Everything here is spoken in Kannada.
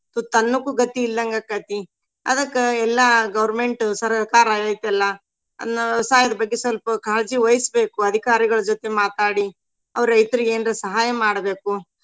ತುತ್ತ ಅನ್ನಕ್ಕು ಗತಿ ಇಲ್ದಂಗ ಆಕ್ಕೇತಿ. ಅದಕ್ಕ ಎಲ್ಲಾ government ಸರ್ಕಾರ ಐತಿ ಅಲ್ಲಾ ಅದ್ನ ವ್ಯವಸಾಯದ ಬಗ್ಗೆ ಸ್ವಲ್ಪ ಕಾಳಜಿವಹಿಸ್ಬೇಕು ಅಧಿಕಾರಿಗಳ ಜೊತೆ ಮಾತಾಡಿ ಅವ್ರ ರೈತ್ರಿಗೆ ಏನ್ರ ಸಹಾಯ ಮಾಡ್ಬೇಕು.